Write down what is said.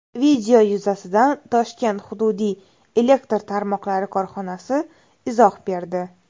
Video yuzasidan Toshkent hududiy elektr tarmoqlari korxonasi izoh berdi .